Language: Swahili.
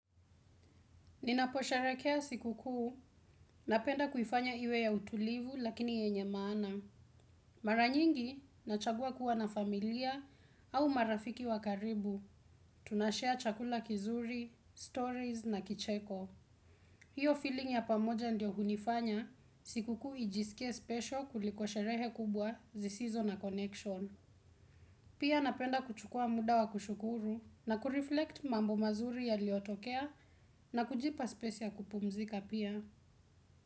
Ninaposherekea siku kuu, napenda kuifanya iwe ya utulivu lakini yenye maana. Mara nyingi, nachagua kuwa na familia au marafiki wa karibu. Tunashare chakula kizuri, stories na kicheko. Hiyo feeling ya pamoja ndio hunifanya, siku kuu ijisikie special kuliko sherehe kubwa zisizo na connection. Pia napenda kuchukua muda wa kushukuru na kureflect mambo mazuri yaliyotokea na kujipa spesi kupumzika pia.